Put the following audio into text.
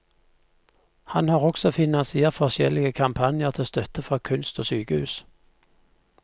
Han har også finansiert forskjellige kampanjer til støtte for kunst og sykehus.